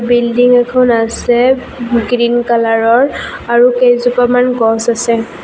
Building এখন আছে green কালাৰৰ আৰু কেইজোপামান গছ আছে।